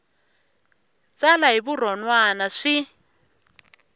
tsala hi vurhon wana swi